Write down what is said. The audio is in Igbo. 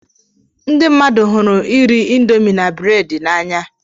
People like eating indomie and bread.